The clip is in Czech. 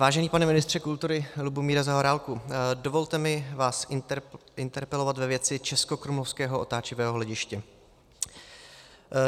Vážený pane ministře kultury Lubomíre Zaorálku, dovolte mi vás interpelovat ve věci českokrumlovského otáčivého hlediště.